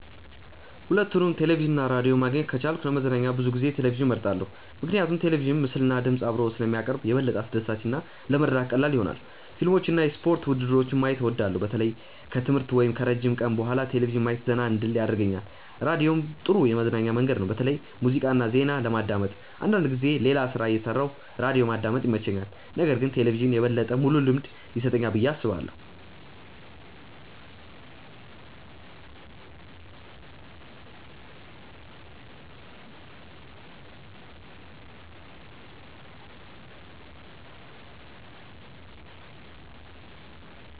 ሁለቱንም ቴሌቪዥን እና ራዲዮ ማግኘት ከቻልኩ ለመዝናኛ ብዙ ጊዜ ቴሌቪዥንን እመርጣለሁ። ምክንያቱም ቴሌቪዥን ምስልና ድምፅ አብሮ ስለሚያቀርብ የበለጠ አስደሳች እና ለመረዳት ቀላል ይሆናል። ፊልሞችን እና የስፖርት ውድድሮችን ማየት እወዳለሁ። በተለይ ከትምህርት ወይም ከረጅም ቀን በኋላ ቴሌቪዥን ማየት ዘና እንድል ያደርገኛል። ራዲዮም ጥሩ የመዝናኛ መንገድ ነው፣ በተለይ ሙዚቃ እና ዜና ለማዳመጥ። አንዳንድ ጊዜ ሌላ ሥራ እየሠራሁ ራዲዮ ማዳመጥ ይመቸኛል። ነገር ግን ቴሌቪዥን የበለጠ ሙሉ ልምድ ይሰጠኛል ብዬ አስባለሁ።